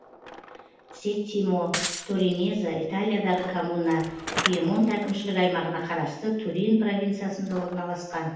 сеттимо торинезе италиядағы коммуна пьемонт әкімшілік аумағына қарасты турин провинциясында орналасқан